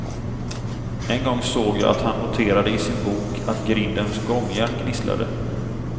En gång såg jag att han noterade i sin bok att grindens gångjärn gnisslade.